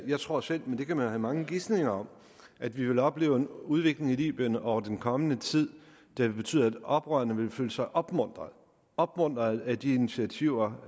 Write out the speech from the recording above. jeg tror selv men det kan man jo have mange gisninger om at vi vil opleve en udvikling i libyen over den kommende tid der vil betyde at oprørerne vil føle sig opmuntrede opmuntrede af de initiativer